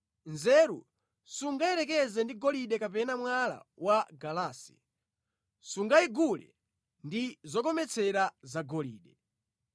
Nzeru sungayiyerekeze ndi golide kapena mwala wa galasi, sungayigule ndi zokometsera zagolide.